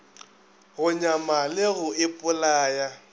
go nyama le go ipolaya